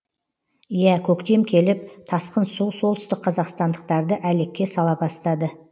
иә көктем келіп тасқын су солтүстік қазақстандықтарды әлекке сала бастады